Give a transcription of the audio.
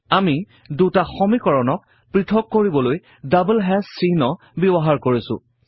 আমি দুটা সমীকৰণক পৄথক কৰিবলৈ দাবল হেশ্ব চিহ্ন ব্যৱহাৰ কৰিছো